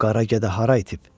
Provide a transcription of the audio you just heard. Bu qara gədə hara itib?